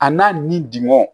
A n'a ni dugɔ